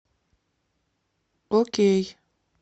окей